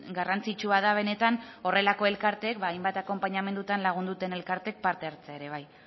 garrantzitsua da benetan horrelako elkarteek hainbat akonpanamendutan lagundu duten elkartek parte hartzea ere bai